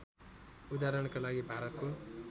उदाहरणका लागि भारतको